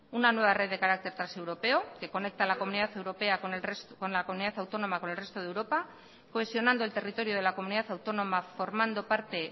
una nueva red de carácter transeuropeo que conecta la comunidad autónoma con el resto de europa cohesionando el territorio de la comunidad autónoma formando parte